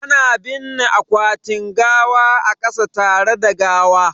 Ana binne akwatin gawa a kasa tare da gawa